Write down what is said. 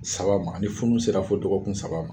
Saba ma, ni funu sera fo dɔgɔkun saba ma